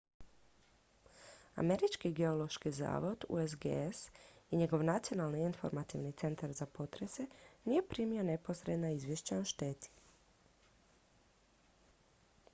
američki geološki zavod usgs i njegov nacionalni informativni centar za potrese nije primio neposredna izvješća o šteti